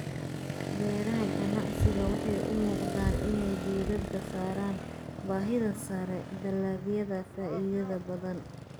Beeraha ganacsiga waxay u muuqdaan inay diiradda saaraan baahida sare, dalagyada faa'iidada badan.